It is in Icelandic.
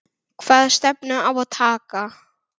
Hvaða stefnu á að taka?